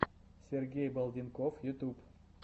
сергей балденков ютуб